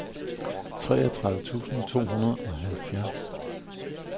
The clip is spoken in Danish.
treogtredive tusind to hundrede og halvfjerds